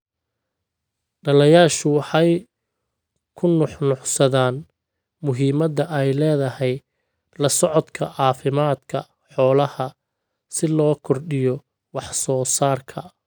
Dhallayaashu waxay ku nuuxnuuxsadaan muhiimadda ay leedahay la socodka caafimaadka xoolaha si loo kordhiyo wax soo saarka.